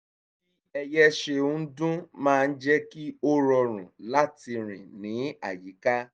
bí ẹyẹ ṣe ń dún máa ń jẹ́ kí ó rọrùn láti rìn ní àyíká